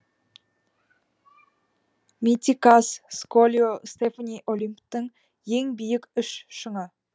митикас сколио стефани олимптың ең биік үш шыңы